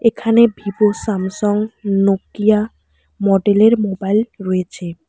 এখানে Vivo Samsung Nokia model -এর mobile রয়েছে।